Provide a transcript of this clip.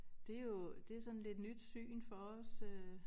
Det jo det sådan lidt nyt syn for os øh